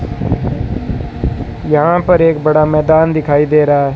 यहां पर एक बड़ा मैदान दिखाई दे रहा है।